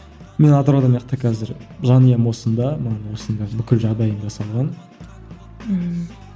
мен атырауда қазір жанұям осында маған осында бүкіл жағдайым жасалған ммм